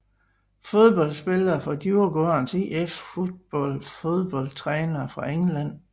Fodboldspillere fra Djurgårdens IF Fotboll Fodboldtrænere fra England